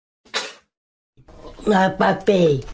на попей